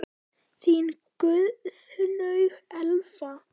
Þín Guðlaug Elfa.